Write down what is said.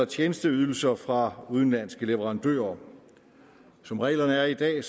tjenesteydelser fra udenlandske leverandører som reglerne er i dag